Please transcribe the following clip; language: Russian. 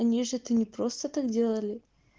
они ж это не просто так делали